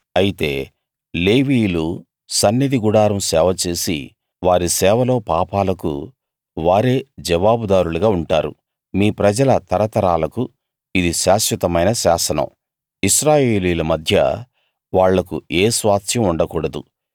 అయితే లేవీయులు సన్నిధి గుడారం సేవ చేసి వారి సేవలో పాపాలకు వారే జవాబుదారులుగా ఉంటారు మీ ప్రజల తరతరాలకు ఇది శాశ్వతమైన శాసనం ఇశ్రాయేలీయుల మధ్య వాళ్లకు ఏ స్వాస్థ్యం ఉండకూడదు